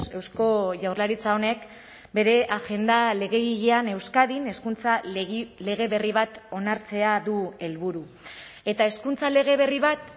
eusko jaurlaritza honek bere agenda legegilean euskadin hezkuntza lege berri bat onartzea du helburu eta hezkuntza lege berri bat